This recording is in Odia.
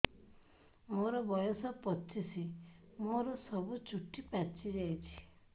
ମୋର ବୟସ ପଚିଶି ମୋର ସବୁ ଚୁଟି ପାଚି ଯାଇଛି